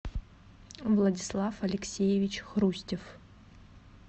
владислав алексеевич хрустев